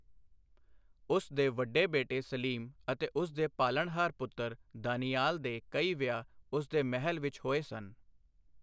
ਉਸ ਦੇ ਵੱਡੇ ਬੇਟੇ ਸਲੀਮ ਅਤੇ ਉਸ ਦੇ ਪਾਲਣਹਾਰ ਪੁੱਤਰ, ਦਾਨਿਆਲ ਦੇ ਕਈ ਵਿਆਹ ਉਸ ਦੇ ਮਹਿਲ ਵਿੱਚ ਹੋਏ ਸਨ।